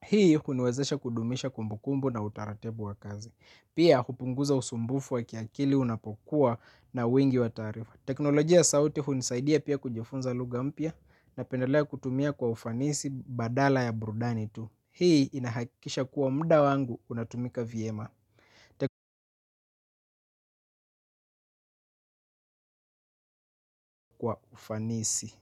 Hii huniwezesha kudumisha kumbukumbu na utaratibu wa kazi. Pia upunguza usumbufu wa kiakili unapokuwa na wingi wa taarifa teknolojia ya sauti hunisaidia pia kujifunza lugha mpya napendalea kutumia kwa ufanisi badala ya burudani tu. Hii inahakisha kuwa muda wangu unatumika vyema kwa ufanisi.